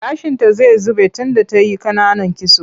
Gashinta zai zube tunda ta yi ƙananan kitso.